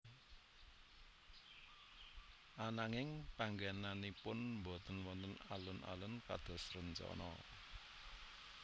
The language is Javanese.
Ananging panggénanipun botên wonten alun alun kados rencana